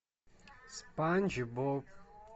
спанч боб